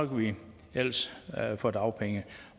ellers få dagpenge